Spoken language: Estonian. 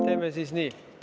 Teeme nii.